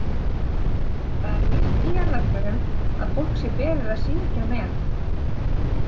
Það er nýtt í jarðarförum að fólk sé beðið að syngja með.